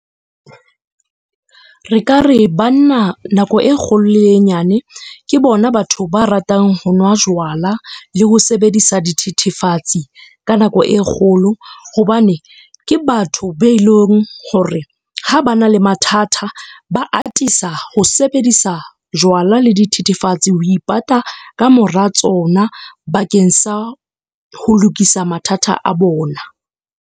Re ka re, banna nako e kgolo le e nyane ke bona batho ba ratang ho nwa jwala le ho sebedisa dithethefatse ka nako e kgolo. Hobane ke batho be leng hore ha ba na le mathata, ba atisa ho sebedisa jwala le dithethefatsi ho ipata kamora tsona bakeng sa ho lokisa mathata a bona.